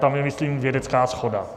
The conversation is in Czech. Tam je, myslím, vědecká shoda.